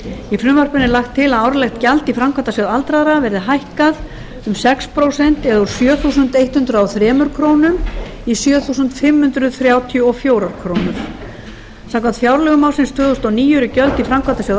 í frumvarpinu er lagt til að árlegt gjald í framkvæmdasjóð aldraðra verði hækkað um sex prósent eða úr sjö þúsund hundrað og þrjár krónur í sjö þúsund fimm hundruð þrjátíu og fjórar krónur samkvæmt fjárlögum ársins tvö þúsund og níu eru gjöld í framkvæmdasjóð